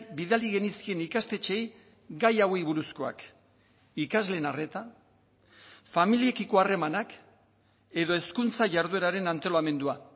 bidali genizkien ikastetxeei gai hauei buruzkoak ikasleen arreta familiekiko harremanak edo hezkuntza jardueraren antolamendua